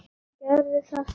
Gerðu þetta samt.